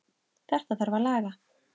Þetta þarf að laga.